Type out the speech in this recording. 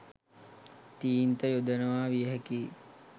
තීන්ත යොදනවා විය හැකියි.